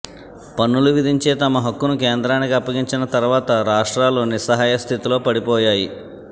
పన్నులు విధించే తమ హక్కును కేంద్రానికి అప్పగించిన తర్వాత రాష్ట్రాలు నిస్సహాయ స్థితిలో పడి పోయాయి